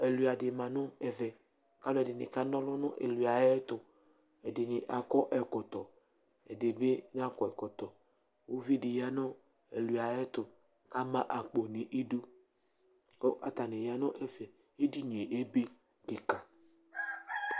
ɛlʋa di ma nu ɛvɛ, alu ɛdini ka na ɔlu nu ɛlʋaɛtu , ɛdini akɔ ɛkɔtɔ, ɛdi bi nakɔ ɛkɔtɔ, ivu di ya nu ɛlʋaɛtu ama akpo nu idu ku ata ya nu ɛfɛ ɛdini ebe kika